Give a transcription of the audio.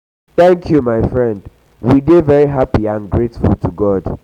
thank you my friend we dey we dey very happy and grateful to god.